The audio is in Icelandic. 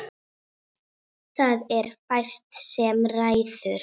Það er fæst sem ræður.